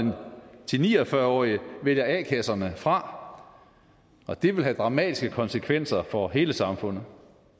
til ni og fyrre årige vælger a kasserne fra og det vil have dramatiske konsekvenser for hele samfundet